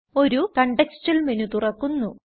ഒരു contextual menu തുറക്കുന്നു